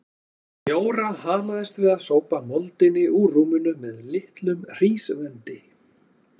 Jóra hamaðist við að sópa moldinni úr rúminu með litlum hrísvendi.